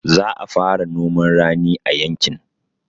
Za a fara noman rani a yankin